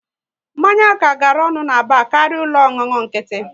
Mmanya ka gara ọnụ na bar karịa ụlọ ọṅụṅụ nkịtị